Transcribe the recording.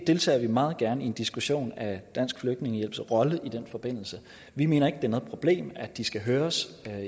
deltager meget gerne i en diskussion af dansk flygtningehjælps rolle i den forbindelse vi mener ikke er noget problem at de skal høres